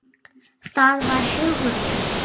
Það var Hugrún!